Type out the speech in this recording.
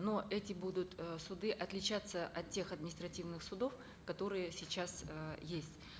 но эти будут э суды отличаться от тех административных судов которые сейчас э есть